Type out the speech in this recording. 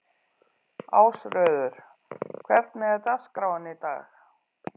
Ásröður, hvernig er dagskráin í dag?